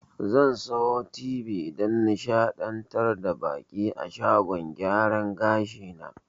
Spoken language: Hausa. Zan sayi tibi dan nishaɗantar da baƙi a shagon gyaran gashi na